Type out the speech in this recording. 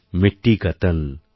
মিট্টি কা তন